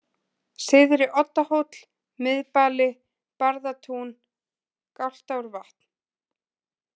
Syðri Oddahóll, Miðbali, Barðatún, Galtárvatn